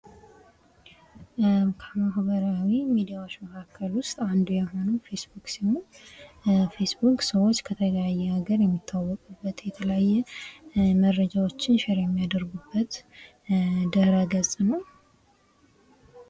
ከማህበራዊ ሚዲያዎች ዉስጥ አንዱ የሆነው ፌስቡክ ሲሆን ፌስቡክ ሰዎች ከተለያየ ሃገር የሚተዋውቁበት የተለያየ መረጃዎችን ሸር የሚያደርጉበት ድህረገጽ ነው።